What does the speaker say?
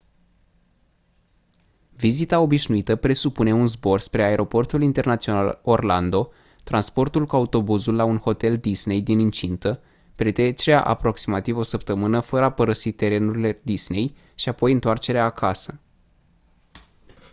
vizita «obișnuită» presupune un zbor spre aeroportul internațional orlando transportul cu autobuzul la un hotel disney din incintă petrecerea a aproximativ o săptămână fără a părăsi terenurile disney și apoi întoarcerea acasă.